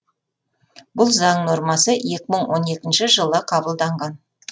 бұл заң нормасы екі мың он екінші жылы қабылданған